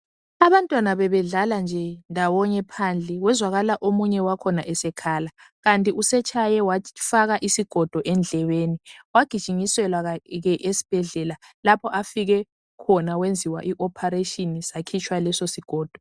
Abantwana bebedlala nje ndawonye phandle kwezakala omunye wakhona esekhala, kanti usetshaye wafaka isigodo phakathi endlebeni. Wagijinyiselwa esibhedlela lapho afike khona wenziwa i ophareshini sakhitshwa leso sigodo.